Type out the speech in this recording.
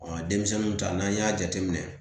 denmisɛnninw ta n'an y'a jateminɛ